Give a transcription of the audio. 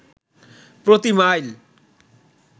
প্রতি মাইল